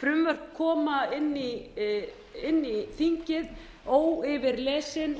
frumvörp koma inn í þingið óyfirlesin og